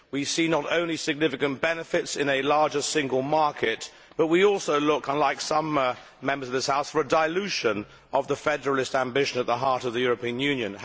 We see not only significant benefits in a larger single market, but we also look unlike some Members of this House for a dilution of the federalist ambition at the heart of the European Union.